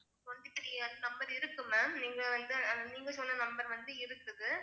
Twenty three ஆ அந்த number இருக்கு ma'am நீங்க வந்து நீங்க சொன்ன number வந்து இருக்குது